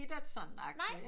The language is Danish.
Bittert sådan agtigt